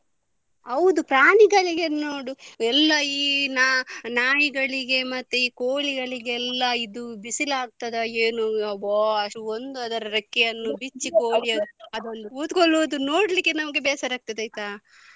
ಹೌದು ಪ್ರಾಣಿಗಳಿಗೆ ನೋಡು ಎಲ್ಲ ಈ ನಾ~ ನಾಯಿಗಳಿಗೆ ಮತ್ತೆ ಈ ಕೋಳಿಗಳಿಗೆ ಎಲ್ಲ ಇದು ಬಿಸಿಲು ಆಗ್ತದ ಏನು ಎಬಾ ಒಂದು ಅದರ ರೆಕ್ಕೆಯನ್ನು ಬಿಚ್ಚಿ ಅದೊಂದು ಕೂತುಕೊಳ್ಳುವುದು ನೋಡ್ಲಿಕ್ಕೆ ನಮ್ಗೆ ಬೇಸರಾಗ್ತದೆ ಆಯ್ತಾ.